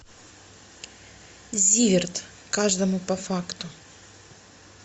зиверт каждому по факту